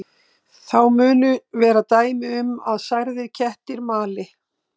Þá munu vera dæmi um að særðir kettir mali.